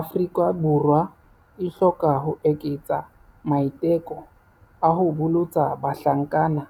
Afrika Borwa e hloka ho eketsa maiteko a ho bolotsa bahlankana